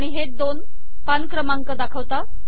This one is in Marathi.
आणि हे दोन पान क्रमांक दाखवतात